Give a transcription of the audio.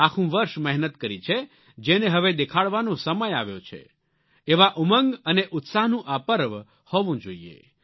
આખું વર્ષ મહેનત કરી છે જેને હવે દેખાડવાનો સમય આવ્યો છે એવા ઉમંગ અને ઉત્સાહનો આ પર્વ હોવો જોઈએ